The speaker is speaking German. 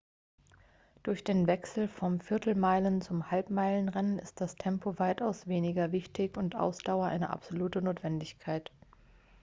durch den wechsel vom viertelmeilen zum halbmeilen-rennen ist das tempo weitaus weniger wichtig und ausdauer eine absolute notwendigkeit